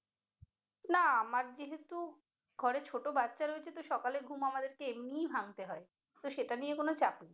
না আমার যেহেতু ঘরে ছোট বাচ্চা রয়েছে তো সকালের ঘুম আমাদেরকে এমনিই ভাঙ্গতে হয় তো সেটা নিয়ে কোন চাপ নেই।